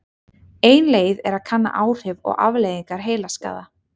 Ein leið er að kanna áhrif og afleiðingar heilaskaða.